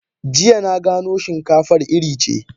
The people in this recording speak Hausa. Jiya na gano shinkafar iri ce.